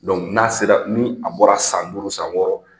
n'a sera ni a bɔra san duuru san wɔɔrɔ